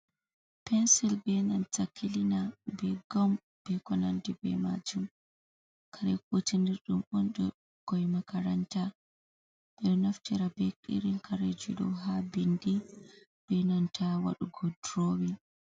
Pensil be nanta kiliina, be gom, be konandi be maajum, kare kutinirɗum on ɗum ɓikkon makaranta, ɓe ɗo naftira be irin kareji ɗo haa bindi be nanta waɗugo duroowin.